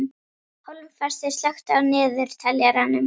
Hólmfastur, slökktu á niðurteljaranum.